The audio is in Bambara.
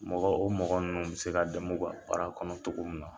Mɔgɔ, o mɔgɔ ninnu bɛ se ka dɛm'u baara kɔnɔ cogo min na.